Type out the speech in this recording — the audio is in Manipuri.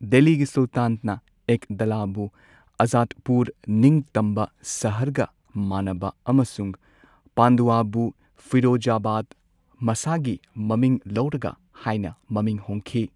ꯗꯦꯜꯂꯤꯒꯤ ꯁꯨꯜꯇꯥꯟꯅ ꯑꯦꯛꯗꯂꯥꯕꯨ ꯑꯖꯥꯗꯄꯨꯔ ꯅꯤꯡꯇꯝꯕ ꯁꯍꯔꯒ ꯃꯥꯟꯅꯕ ꯑꯃꯁꯨꯡ ꯄꯥꯟꯗꯨꯑꯥꯕꯨ ꯐꯤꯔꯣꯖꯥꯕꯥꯗ ꯃꯁꯥꯒꯤ ꯃꯃꯤꯡ ꯂꯧꯔꯒ ꯍꯥꯏꯅ ꯃꯃꯤꯡ ꯍꯣꯡꯈꯤ꯫